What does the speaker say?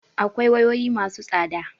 Akwai wayoyi ma su tsada